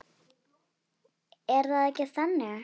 Er það ekki þannig?